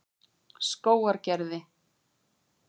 Skógargerði